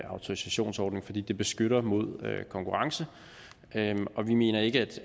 autorisationsordning fordi det beskytter mod konkurrence og vi mener ikke